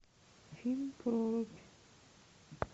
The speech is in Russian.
фильм прорубь